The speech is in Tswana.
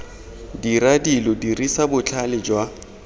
dira dilo dirisa botlhale jwa